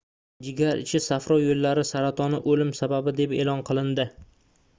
jigar ichi safro yoʻllari saratoni oʻlim sababi deb eʼlon qilindi